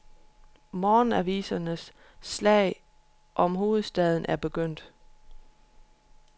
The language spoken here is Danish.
Morgenavisernes slag om hovedstaden er begyndt.